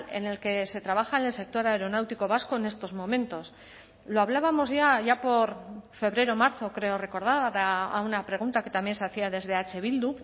en el que se trabaja en el sector aeronáutico vasco en estos momentos lo hablábamos ya allá por febrero marzo creo recordar a una pregunta que también se hacía desde eh bildu